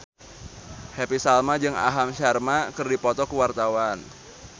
Happy Salma jeung Aham Sharma keur dipoto ku wartawan